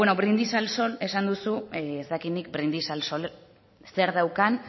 bueno brindis al sol esan duzu ez dakit nik brindis al sol zer daukan